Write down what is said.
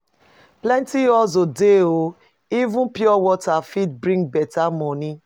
Plenty hustle dey o! Even pure water fit bring beta money.